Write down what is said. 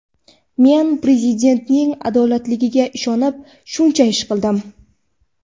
Men Prezidentning adolatiga ishonib shuncha ish qildim.